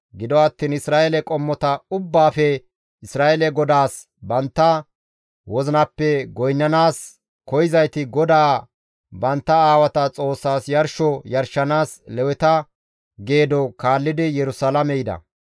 Gido attiin Isra7eele qommota ubbaafe Isra7eele GODAAS bantta wozinappe goynnanaas koyzayti GODAA bantta aawata Xoossas yarsho yarshanaas Leweta geedo kaallidi Yerusalaame yida.